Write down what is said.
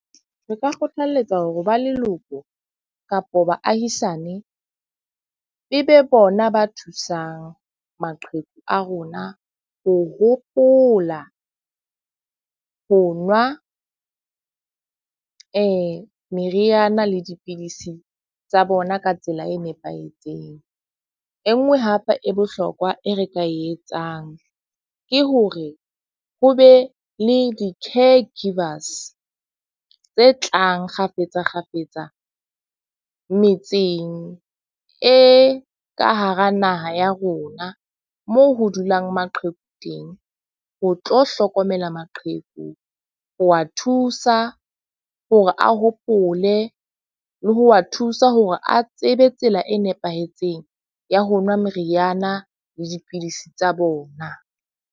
Re ka kgothaletsa hore ba leloko kapa baahisane e be bona ba thusang maqheku a rona ho hopola ho nwa meriana le dipidisi tsa bona ka tsela e nepahetseng. E nngwe hape e bohlokwa e re ka e etsang ke hore ho be le di-care givers tse tlang kgafetsa kgafetsa metseng e ka hara naha ya rona moo ho dulang maqheku teng, ho tlo hlokomela maqheku. Ho wa thusa hore a hopole le ho wa thusa hore a tsebe tsela e nepahetseng ya ho nwa meriana le dipidisi tsa bona.